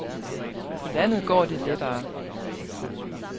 På landet går det lettere.